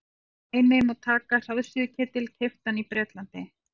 sem dæmi má taka hraðsuðuketil keyptan í bretlandi